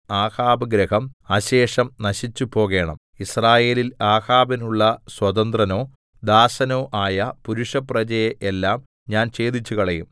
ആഹാബ് ഗൃഹം അശേഷം നശിച്ചുപോകേണം യിസ്രായേലിൽ ആഹാബിനുള്ള സ്വതന്ത്രനോ ദാസനോ ആയ പുരുഷപ്രജയെ എല്ലാം ഞാൻ ഛേദിച്ചുകളയും